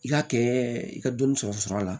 I k'a kɛ i ka dɔnni sɔrɔ la